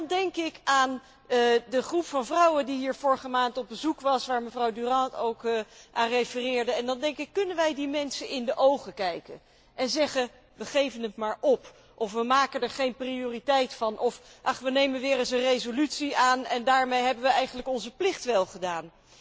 Maar dan denk ik aan de groep van vrouwen die hier vorige maand op bezoek was, waar mevrouw Durant ook aan refereerde en dan denk ik, kunnen wij die mensen in de ogen kijken en zeggen, we geven het maar op, of we maken er geen prioriteit van, of, ach, we nemen maar weer eens een resolutie aan en daarmee hebben we eigenlijk onze plicht wel gedaan.